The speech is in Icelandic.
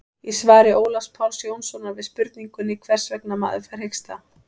í svari ólafs páls jónssonar við spurningunni hvers vegna fær maður hiksta